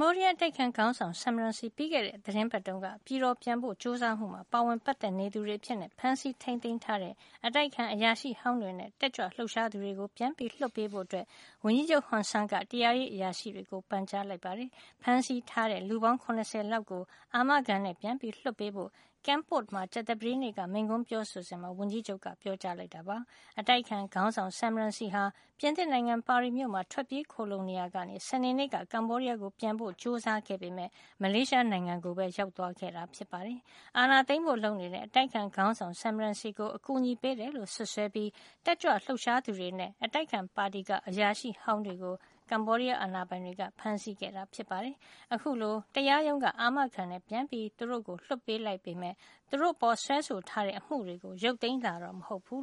ဘောဒီးယား အတိုက်အခံ ခေါင်းဆောင် Sam Rainsy ပြီးခဲ့တဲ့ သီတင်းပတ်တုန်းက ပြည်တော်ပြန်ဖို့ ကြိုးစားမှု မှာ ပါဝင်ပတ်သက် နေသူတွေ အဖြစ် ဖမ်းဆီးထိန်းသိမ်း ထားတဲ့ အတိုက်အခံ အရာရှိဟောင်းတွေ နဲ့ တက်ကြွလှုပ်ရှားသူတွေကို ပြန်လွတ်ပေးဖို့ ဝန်ကြီးချုပ် ဟွန်ဆန်းက တရားရေးအရာရှိတွေ ကို ပန်ကြားလိုက်ပါတယ်။ ဖမ်းဆီးထားတဲ့ လူပေါင်း ၇၀ လောက် ကို အာမခံနဲ့ ပြန်လွှတ်ပေးဖို့ Kampot မှာ ကြာသပတေးနေ့ က မိန့်ခွန်းပြောဆိုစဉ်မှာ ဝန်ကြီးချုပ်က ပြောကြားလိုက်တာပါ။ အတိုက်အခံ ခေါင်းဆောင် Sam Rainsy ဟာ ပြင်သစ်နိုင်ငံ ပါရီမြို့မှာ ထွက်ပြေးခိုလှုံနေရာကနေ စနေနေ့က ကမ္ဘောဒီးယားကို ပြန်ဖို့ ကြိုစားခဲ့ပေမယ့် မလေးရှားကိုပဲ ရောက်သွားခဲ့တာ ဖြစ်ပါတယ်။ အာဏာသိမ်းဖို့ လုပ်နေတဲ့ အတိုက်အခံ ခေါင်းဆောင် Sam Rainsy ကို အကူအညီပေးတယ်လို့ စွပ်စွဲပြီး တက်ကြွလှုပ်ရှားသူတွေနဲ့ အတိုက်အခံ ပါတီက အရာရှိဟောင်းတွေကို ကမ္ဘောဒီးယား အာဏာပိုင်တွေက ဖမ်းဆီးခဲ့တာ ဖြစ်ပါတယ်။ အခုလို တရားရုံးက အာမခံနဲ့ လွှတ်ပေးလိုက်ပေမယ့် သူတို့ အပေါ်စွဲဆို ထားတဲ့အမှုတွေကို ရုတ်သိမ်းတာတော့ မဟုတ်ပါဘူး